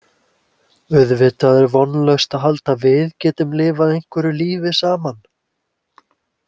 Auðvitað er vonlaust að halda að við getum lifað einhverju lífi saman.